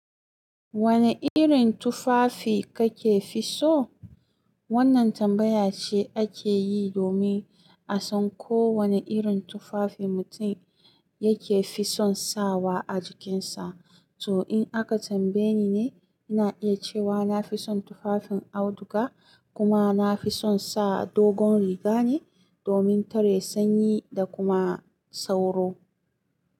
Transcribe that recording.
Wane irin tufafi kake fi so? Wannan tambaya ce ake yi domin a san ko wane irin tufafi mutum yake fison sawa a jikinsa. To in aka tambaye ni ne, ina iya cewa na fison tufafin auduga, kuma na fison sa dogon riga ne domin tare sanyi da kuma sauro.